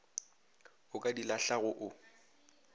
o ka di lahlago o